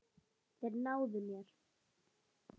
Þeir náðu mér.